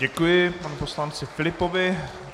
Děkuji panu poslanci Filipovi.